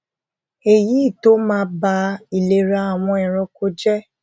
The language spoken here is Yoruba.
èyí tó máa ba ìlera àwọn ẹranko jé